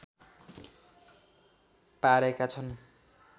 पारेका छन्